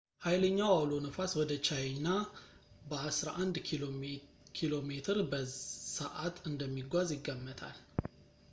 ኃይለኛው አውሎ ነፋስ ወደ ቻይኛ በአስራ አንድ ኪሜ በሰዓት እንደሚጓዝ ይገመታል